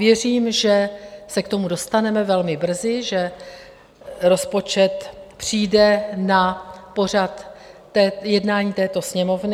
Věřím, že se k tomu dostaneme velmi brzy, že rozpočet přijde na pořad jednání této Sněmovny.